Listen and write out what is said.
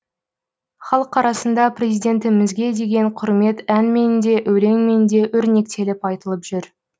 халық арасында президентімізге деген құрмет әнмен де өлеңмен де өрнектеліп айтылып жүр